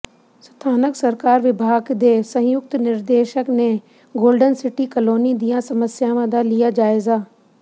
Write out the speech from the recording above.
ਸਥਾਨਕ ਸਰਕਾਰ ਵਿਭਾਗ ਦੇ ਸੰਯੁਕਤ ਨਿਰਦੇਸ਼ਕ ਨੇ ਗੋਲਡਨ ਸਿਟੀ ਕਲੋਨੀ ਦੀਆਂ ਸਮੱਸਿਆਵਾਂ ਦਾ ਲਿਆ ਜਾਇਜ਼ਾ